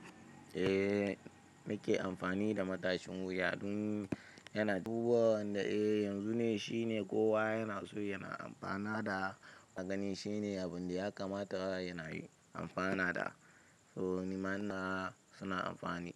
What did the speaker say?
Eh nake amfani da matashin wuya tun yana ci duba, wanda eh yanzu ne shine kowa yana so yana amfana da gani. Shine abun da ya kamata ana yi amfana da. So ni ma ina suna amfani.